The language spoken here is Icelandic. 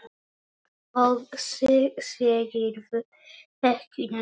Svo segirðu ekki neitt.